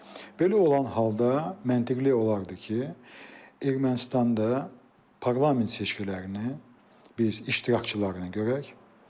Belə olan halda məntiqli olardı ki, Ermənistanda parlament seçkilərini biz iştirakçılarını görək.